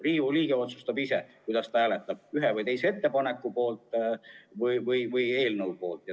Riigikogu liige otsustab ise, kuidas ta hääletab, kas ühe või teise ettepaneku või eelnõu poolt või vastu.